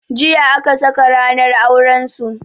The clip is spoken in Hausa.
Jiya aka saka ranar auran su.